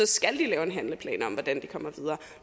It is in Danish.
skal de